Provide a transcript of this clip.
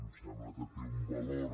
em sembla que té un valor